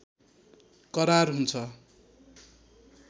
करार हुन्छ